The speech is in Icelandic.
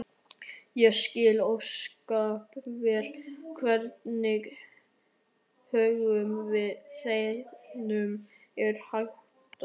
Ég skil ósköp vel hvernig högum þínum er háttað.